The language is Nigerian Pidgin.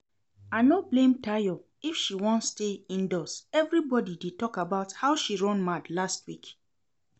I no blame Tayo if she wan stay indoors, everybody dey talk about how she run mad last week